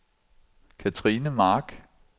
Kathrine Mark